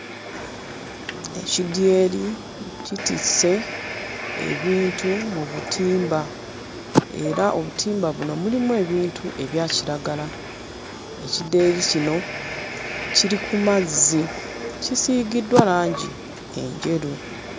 Ekidyeri kitisse ebintu mu butimba era obutimba buno mulimu ebintu ebya kiragala. Ekidyeri kino kiri ku mazzi, kisiigiddwa langi enjeru.